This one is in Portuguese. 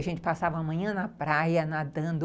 A gente passava a manhã na praia, nadando.